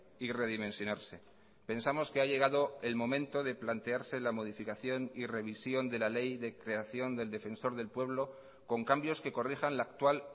y redimensionarse pensamos que ha llegado el momento de plantearse la modificación y revisión de la ley de creación del defensor del pueblo con cambios que corrijan la actual